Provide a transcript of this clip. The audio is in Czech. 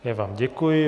Já vám děkuji.